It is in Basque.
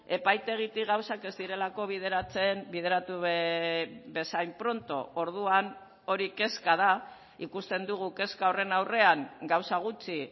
epaitegitik gauzak ez direlako bideratzen bideratu bezain pronto orduan hori kezka da ikusten dugu kezka horren aurrean gauza gutxi